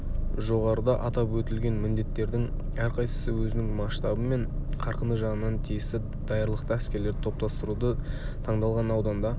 жоғарыда атап өтілген міндеттердің әрқайсысы өзінің масштабы мен қарқыны жағынан тиісті даярлықты әскерлерді топтастыруды таңдалған ауданда